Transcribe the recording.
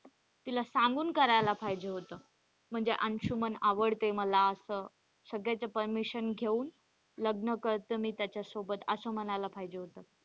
तिला सांगून करायला पाहिजे होत म्हणजे अंशुमन आवडते मला असं सगळ्याच permission घेऊन लग्न करत मी त्याच्यासोबत असं म्हणायला पाहिजे होत.